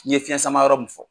N ye fiyɛn sama yɔrɔ mun fɔ.